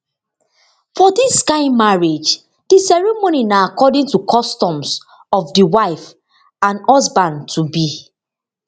for dis kain marriage di ceremony na according to customs of di wife and husband tobe